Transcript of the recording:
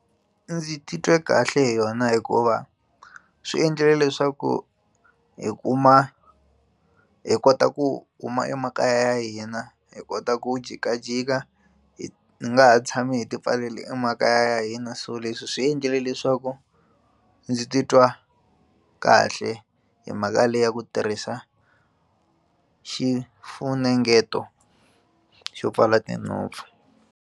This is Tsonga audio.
Ndzi titwe kahle hi yona hikuva swi endlile leswaku hi kuma hi kota ku kuma emakaya ya hina hi kota ku jikajika hi nga ha tshami hi tipfalela emakaya ya hina so leswi swi endlile leswaku ndzi titwa kahle hi mhaka leyi ya ku tirhisa xifunengeto xo pfala tinhompfu.